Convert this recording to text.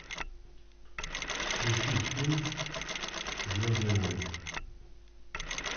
включи фильм звездные войны